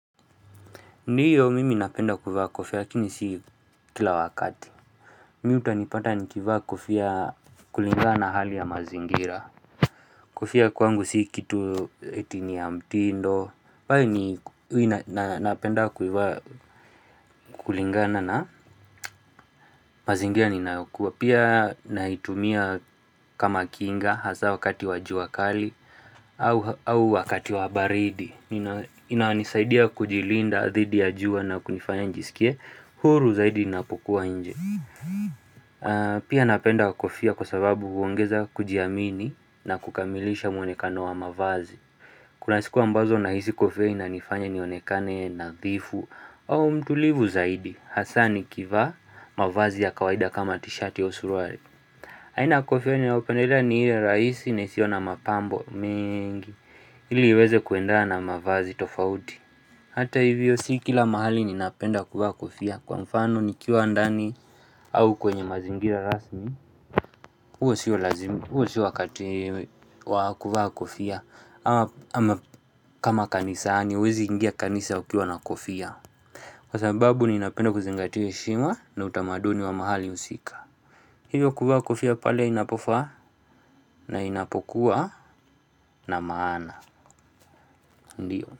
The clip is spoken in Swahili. Ndiyo mimi napenda kuivaa kofia lakini si kila wakati. Mi utanipata nikivaa kofia kulinga na hali ya mazingira. Kofia kwangu si kitu etini ya mtindo. Pale ni wina napenda kuivaa kulingana na mazingira ninayokuwa pia nahitumia kama kinga hasa wakati wajua kali. Au wakati wa baridi. Inanisaidia kujilinda dhidi ya jua na kunifanya njisikie. Huru zaidi napokuwa nje Pia napenda kofia kwa sababu huongeza kujiamini na kukamilisha mwonekano wa mavazi Kuna siku ambazo na hisi kofia inanifanya nionekane nadhifu au mtulivu zaidi Hasa ni kivaa mavazi ya kawaida kama t-shirt yo suruali haina kofia inaopeneda ni hile rahisi naisio na mapambo mingi ili iweze kuenda na mavazi tofauti Hata hivyo si kila mahali ninapenda kofia Kwa mfano ni kiwa ndani au kwenye mazingira rasmi uwe si wa lazimi, uo siwa wakati wakuvaa kofia ama kama kanisani, uwezi ingia kanisa ukiwa na kofia Kwa sababu ninapenda kuzingatis heshima na utamaduni wa mahali usika Hivyo kuvaa kofia pale inapofaa na inapokuwa na maana Ndiyo.